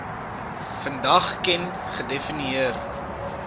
vandag ken gedefinieer